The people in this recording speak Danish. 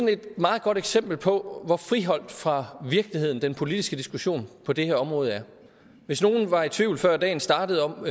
et meget godt eksempel på hvor friholdt fra virkeligheden den politiske diskussion på det her område er hvis nogen var i tvivl før dagen startede om